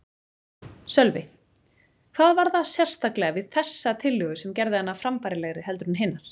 Sölvi: Hvað var það sérstaklega við þessa tillögu sem gerði hana frambærilegri heldur en hinar?